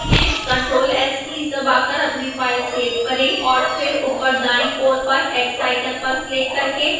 ctrl + s keys दबाकर अपनी file save करें और फिर ऊपर दाईं ओर पर x आइकन पर क्लिक करके इसे बंद करें